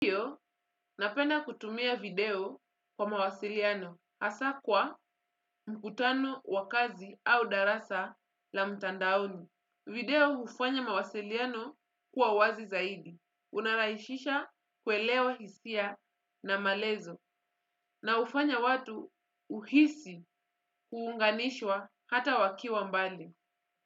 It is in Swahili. Napenda kutumia video kwa mawasiliano hasa kwa mkutano wa kazi au darasa la mtandaoni. Video hufanya mawasiliano kuwa wazi zaidi. Unarahishisha kuelewa hisia na malezo. Na hufanya watu uhisi kuunganishwa hata wakiwa mbali.